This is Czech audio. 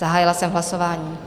Zahájila jsem hlasování.